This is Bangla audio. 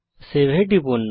সেভ এ টিপুন